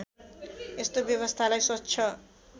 यस्तो व्यवस्थालाई स्वच्छ